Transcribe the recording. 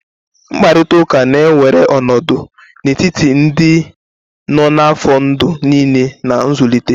Mkparịta ụka na-ewere ọnọdụ n'etiti ndị nọ n'afọ ndụ niile na nzụlite.